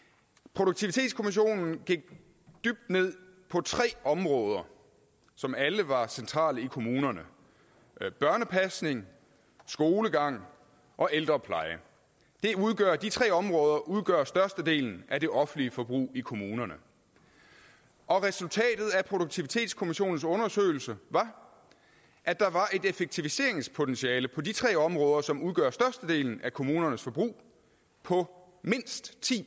produktivitetskommissionen gik dybt ned på tre områder som alle var centrale i kommunerne børnepasning skolegang og ældrepleje de tre områder udgør størstedelen af det offentlige forbrug i kommunerne og resultatet af produktivitetskommissionens undersøgelse var at der var et effektiviseringspotentiale på de tre områder som udgør størstedelen af kommunernes forbrug på mindst ti